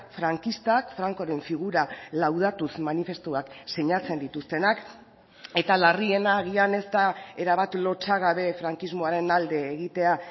frankistak francoren figura laudatuz manifestuak sinatzen dituztenak eta larriena agian ez da erabat lotsagabe frankismoaren alde egitea